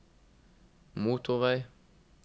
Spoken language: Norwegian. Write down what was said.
motorvei